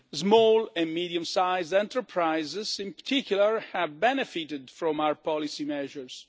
Small and medium sized enterprises in particular have benefited from our policy measures.